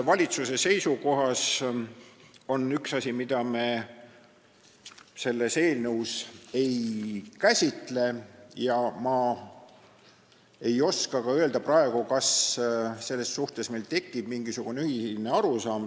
Valitsuse seisukohas on üks asi, mida me eelnõus ei käsitle, ja ma ei oska ka praegu öelda, kas selles suhtes tekib mingisugune ühine arusaam.